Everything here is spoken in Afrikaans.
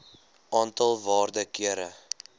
aantal waarde kere